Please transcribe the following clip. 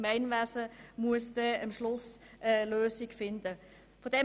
Das Gemeinwesen wird am Schluss eine Lösung finden müssen.